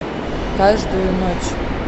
каждую ночь